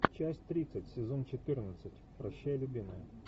часть тридцать сезон четырнадцать прощай любимая